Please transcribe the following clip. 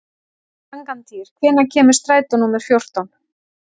Angantýr, hvenær kemur strætó númer fjórtán?